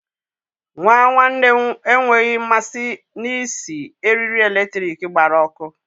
Nwa nwanne m enweghị mmasị na-isi eriri eletrik gbara ọkụ.